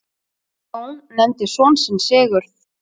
Jón nefndi son sinn Sigurð.